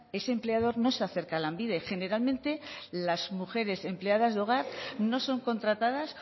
ese empleador no se acerca lanbide generalmente las mujeres empleadas de hogar no son contratadas